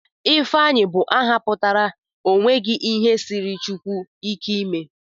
Ifeanyichukwu bụ aha pụtara 'o nweghi ihe siiri Chineke ike ime'